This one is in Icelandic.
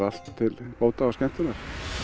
allt til bóta og skemmtunar